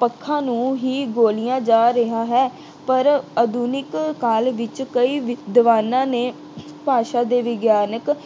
ਪੱਖਾਂ ਨੂੰ ਹੀ ਬੋਲਿਆ ਜਾ ਰਿਹਾ ਹੈ। ਪਰ ਆਧੁਨਿਕ ਕਾਲ ਵਿੱਚ ਕਈ ਵਿਦਵਾਨਾਂ ਨੇ ਭਾਸ਼ਾ ਦੇ ਵਿਗਿਆਨਕ